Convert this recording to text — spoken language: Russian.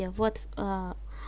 я вот